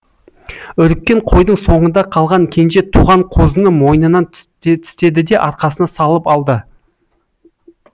үріккен қойдың соңында қалған кенже туған қозыны мойнынан тістеді де арқасына салып алды